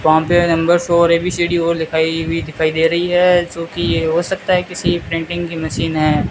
वहां पे नंबर्स और ए बी सी डी और लिखाई हुई दिखाई दे रही है जो की ये हो सकता है किसी प्रिंटिंग की मशीन है।